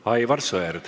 Aivar Sõerd.